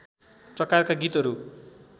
प्रकारका गीतहरू